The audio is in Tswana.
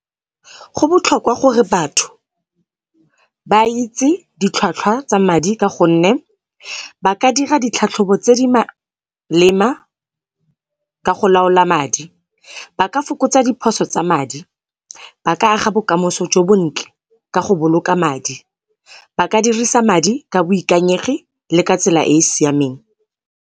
Go botlhokwa gore batho ba itse ditlhwatlhwa tsa madi ka gonne, ba ka dira ditlhatlhobo tse di malema ka go laola madi. Ba ka fokotsa diphoso tsa madi, ba ka aga bokamoso jo bontle ka go boloka madi. Ba ka dirisa madi ka boikanyegi le ka tsela e e siameng.